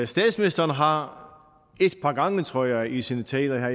statsministeren har et par gange tror jeg i sine taler